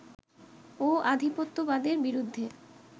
ও আধিপত্যবাদের বিরুদ্ধে